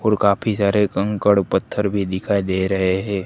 और काफी सारे कंकड़ पत्थर भी दिखाई दे रहे है।